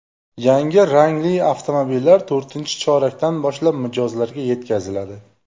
Yangi rangli avtomobillar to‘rtinchi chorakdan boshlab mijozlarga yetkaziladi.